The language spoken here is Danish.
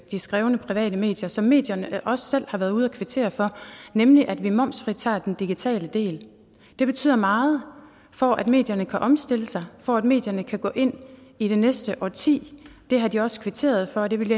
de skrevne private medier som medierne også selv har været ude at kvittere for nemlig at vi momsfritager den digitale del det betyder meget for at medierne kan omstille sig og for at medierne kan gå ind i det næste årti det har de også kvitteret for og det ville